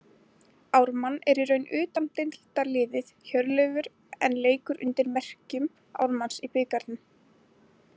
Ármann er í raun utandeildarliðið Hjörleifur en leikur undir merkjum Ármanns í bikarnum.